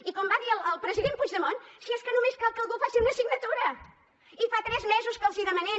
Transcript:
i com va dir el president puigdemont si és que només cal que algú faci una signatura i fa tres mesos que els hi demanem